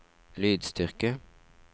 lydstyrke